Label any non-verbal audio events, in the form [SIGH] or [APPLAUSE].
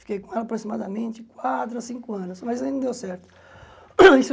Fiquei com ela aproximadamente quatro, ou cinco anos, mas ainda não deu certo. [COUGHS] isso